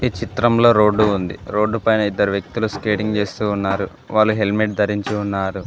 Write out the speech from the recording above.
చిత్రంలో రోడ్డు ఉంది రోడ్డు పైన ఇద్దరు వ్యక్తులు స్కేటింగ్ చేస్తున్నారు వాళ్ళు హెల్మెట్ ధరించి ఉన్నారు.